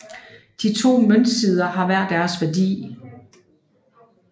De to møntsider har hver deres værdi